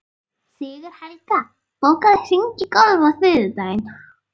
Sigurhelga, bókaðu hring í golf á þriðjudaginn.